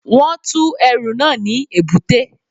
Wọ́n tú ẹrù náà ní èbúté